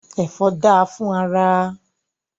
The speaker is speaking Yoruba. Ẹfọ da fún ara.